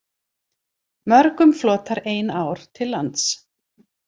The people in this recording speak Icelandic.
Mörgum flotar ein ár til lands.